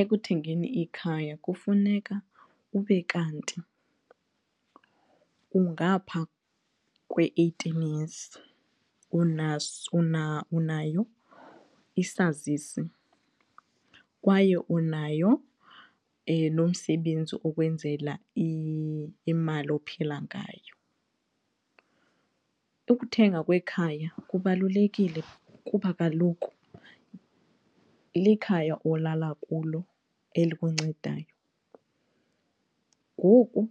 Ekuthengeni ikhaya kufuneka ube kanti ungaphaa kwe-eighteen years unayo isazisi kwaye unayo nomsebenzi okwenzela imali ophila ngayo. Ukuthenga kwekhaya kubalulekile kuba kaloku likhaya olala kulo elikuncedayo ngoku